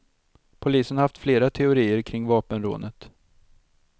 Polisen har haft flera teorier kring vapenrånet.